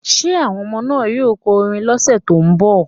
Will the children sing next week?